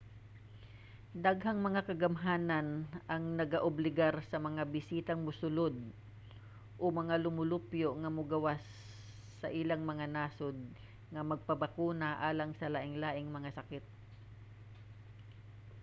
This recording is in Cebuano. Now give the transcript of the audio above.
daghang mga kagamhanan ang nagaobligar sa mga bisitang mosulod o mga lumulupyo nga mogawas sa ilang mga nasod nga magpabakuna alang sa lainlaing mga sakit